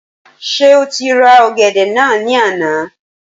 Ṣé o ti ra ọ̀gẹ̀dẹ̀ náà ní àná?